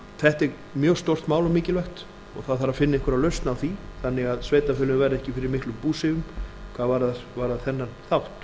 þetta er mjög stórt mál og mikilvægt og það þarf að finna einhverja lausn á því þannig að sveitarfélögin verði ekki fyrir miklum búsifjum hvað varðar þennan þátt